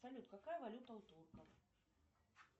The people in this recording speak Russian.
салют какая валюта у турков